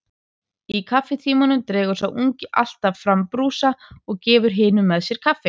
Í kaffitímanum dregur sá ungi alltaf fram brúsa og gefur hinum með sér kaffi.